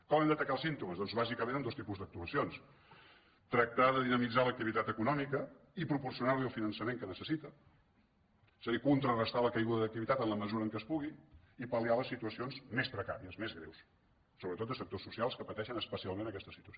com hem d’atacar els símptomes doncs bàsicament amb dos tipus d’actuacions tractar de dinamitzar l’ac·tivitat econòmica i proporcionar·li el finançament que necessita és a dir contrarestar la caiguda d’activitat en la mesura que es pugui i pal·liar les situacions més precàries més greus sobretot de sectors socials que pateixen especialment aquesta situació